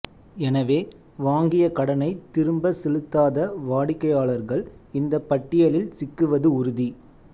எனவே வாங்கிய கடனைத் திரும்ப செலுத்தாத வாடிக்கையாளர்கள் இந்த பட்டியலில் சிக்குவது உறுதி